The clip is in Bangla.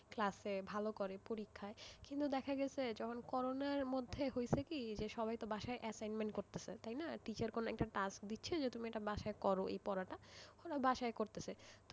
ক্লাসে ভালো করে পরীক্ষায় কিন্তু দেখা গেছে যখন করোণার মধ্যে হয়েছে কি যে সবাই তো বাসায় assignment করিতেছে তাই না? teacher কোন একটা task দিচ্ছে যে তুমি এটা বাসায় করো এই পড়াটা বাসায় করিতেছি,